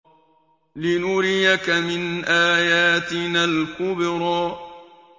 لِنُرِيَكَ مِنْ آيَاتِنَا الْكُبْرَى